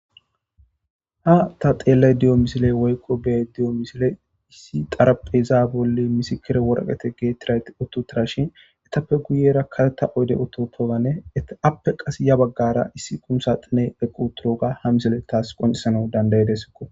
ha ta xeellaydiyo misile woyqo bediyo misile issi xarapheza bolle misikire worqete geettirayt ottutara shin etappe guyera kateta oyde ototoganne appe qas ya baggara issi kumusa xine equturoga ha misile taas qoncisana dandayedesko